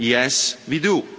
Yes, we do.